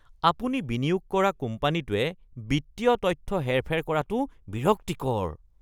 আপুনি বিনিয়োগ কৰা কোম্পানীটোৱে বিত্তীয় তথ্য হেৰ-ফেৰ কৰাটো বিৰক্তিকৰ।